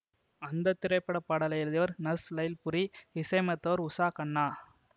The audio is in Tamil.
அந்த திரைப்படப்பாடலை எழுதியவர் நஷ் லைல்புரி இசையமைத்தவர் உஷா கன்னா